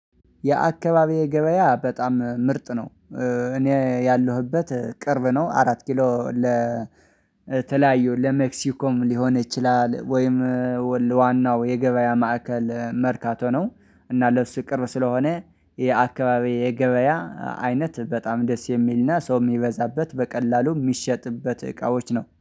የአካባቢው ገበያ በጣም ምርጥ ነው። እኔ ያለሁበት ቅርብ ነው። አራት ኪሎ ለተለያዩ ለሜክሲኮም ሊሆን ይችላል ወይም ዋናው የገበያ ማዕከል መርካቶ ነው። እና ለስቅርብ ስለሆነ የአካባቢው የገበያ አይነት በጣም ደስ የሚልና ሰው የሚበዛበት በቀላሉ የሚሸጥበት እቃዎች ነው